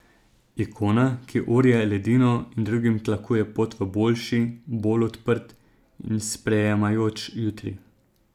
Ikona, ki orje ledino in drugim tlakuje pot v boljši, bolj odprt in sprejemajoč jutri.